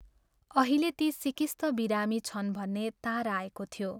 अहिले ती सिकिस्त बिरामी छन् भन्ने तार आएको थियो।